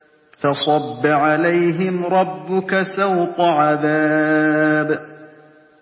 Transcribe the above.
فَصَبَّ عَلَيْهِمْ رَبُّكَ سَوْطَ عَذَابٍ